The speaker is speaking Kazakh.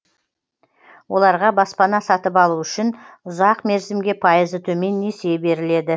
оларға баспана сатып алу үшін ұзақ мерзімге пайызы төмен несие беріледі